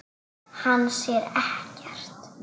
Hann sér ekkert.